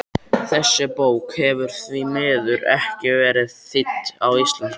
Þessi bók hefur því miður ekki verið þýdd á íslensku.